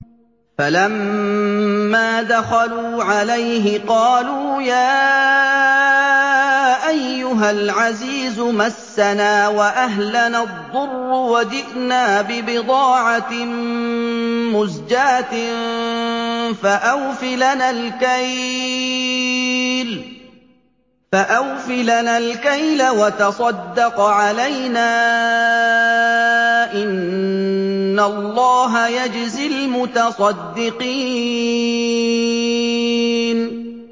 فَلَمَّا دَخَلُوا عَلَيْهِ قَالُوا يَا أَيُّهَا الْعَزِيزُ مَسَّنَا وَأَهْلَنَا الضُّرُّ وَجِئْنَا بِبِضَاعَةٍ مُّزْجَاةٍ فَأَوْفِ لَنَا الْكَيْلَ وَتَصَدَّقْ عَلَيْنَا ۖ إِنَّ اللَّهَ يَجْزِي الْمُتَصَدِّقِينَ